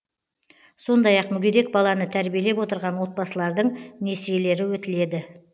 сондай ақ мүгедек баланы тәрбиелеп отырған отбасылардың несиелері өтіледі